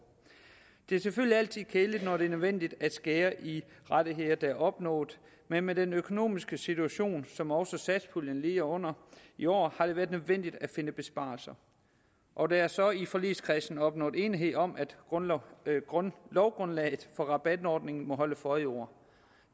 det er selvfølgelig altid kedeligt når det er nødvendigt at skære i rettigheder der er opnået men med den økonomiske situation som også satspuljen lider under i år har det været nødvendigt at finde besparelser og der er så i forligskredsen opnået enighed om at lovgrundlaget for rabatordningen må holde for i år